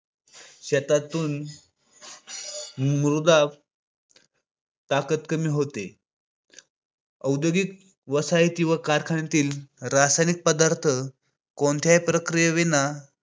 ज्याच्यातून मृदा ताकद कमी होते. औद्योगिक वसाहती व कारखान्यातील रासायनिक पदार्थ कोणत्या प्रक्रिये विना